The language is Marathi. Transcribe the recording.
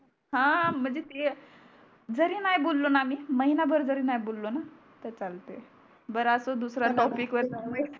हा म्हणजे ते जरी नाही बोलो णा आम्ही महिना भर नाही बोलो णा तर चालते बर अस दुसऱ्या टॉपिकवर जाऊ नये